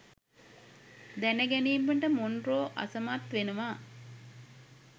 දැනගැනීමට Monroe අසමත් වෙනවා.